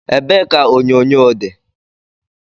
Ebe ka onyonyo di?